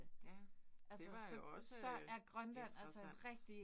Ja, det var jo også øh interessant